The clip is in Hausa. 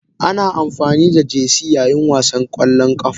Ana amfani da Jerseys yayin wasan ƙwallon ƙafa.